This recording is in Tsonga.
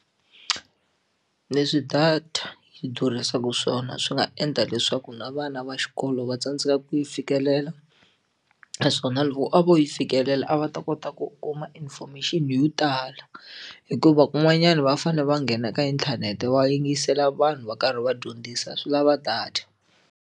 Leswi data yi durhisaka swona swi nga endla leswaku na vana va xikolo va tsandzeka ku yi fikelela naswona loko a vo yi fikelela a va ta kota ku kuma information yo tala hikuva kun'wanyana va fanele va nghena ka inthanete va yingisela vanhu va karhi va dyondzisa swi lava data.